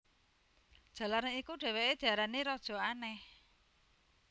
Jalaran iku dhèwèké diarani Raja Aneh